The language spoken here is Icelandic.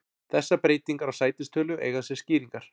Þessar breytingar á sætistölu eiga sér skýringar.